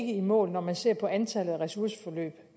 i mål når man ser på antallet af ressourceforløb